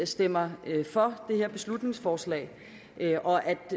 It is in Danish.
stemmer for det her beslutningsforslag